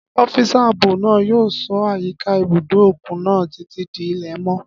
Ọ́físà ààbò náà yóò ṣọ́ àyíká ibùdó òkun náà títí di ilẹ̀ mọ́